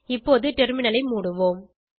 இப்போது டெர்மினல் ஐ மூடுவோம்